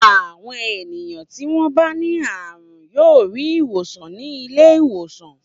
Àwọn ènìyàn tí wọ́n bá ní àrùn yóò rí ìwòsàn ní ilé-ìwòsàn.